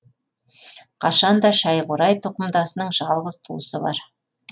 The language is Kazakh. қашанда шайқурай тұқымдасының жалғыз туысы бар